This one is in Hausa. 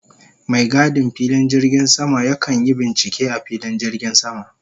Mai gadin filin jirgin sama ya kan yi bincike a filin jirgin sama.